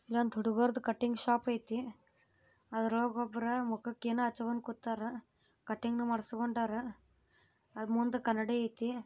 ಇದು cutting shop ಇದೆ ಅದರಾಗೆ ಒಬ್ಬ ಏನು ಮುಖಕ್ಕೆ ಅಷ್ಟೊಂದು ಕಟಿಂಗ್ ಮಾಡ್ಸ್ಕೊಂಡವನ ಅದರ ಮುಂದೆ ಕನ್ನಡಿಗ ಇದೆ